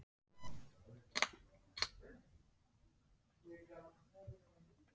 Þeir eru því ekki frumbjarga eins og plöntur.